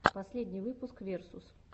последний выпуск версус